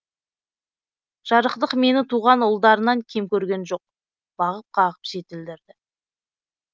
жарықтық мені туған ұлдарынан кем көрген жоқ бағып қағып жетілдірді